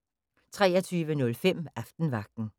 23:05: Aftenvagten